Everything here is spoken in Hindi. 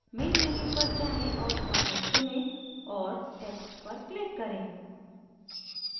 main menu पर जाएँ और format चुनें और text पर click करें